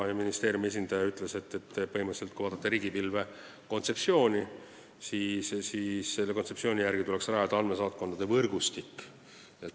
Ministeeriumi esindaja ütles, et riigipilve kontseptsiooni järgi tuleks põhimõtteliselt rajada andmesaatkondade võrgustik.